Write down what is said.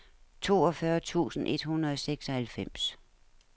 toogfyrre tusind et hundrede og seksoghalvfems